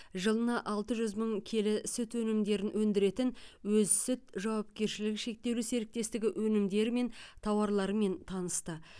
жылына алты жүз мың келі сүт өнімдерін өндіретін өз сүт жауапкершілігі шектеулі серіктестігі өнімдері мен тауарларымен танысты